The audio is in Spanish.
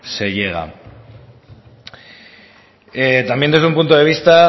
se llegan también desde un punto de vista